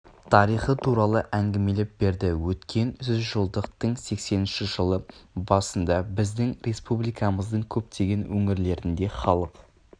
тарихы туралы әңгімелеп берді өткен жүз жылдықтың сексенінші жылы басында біздің республикамыздың көптеген өңірлерінде халық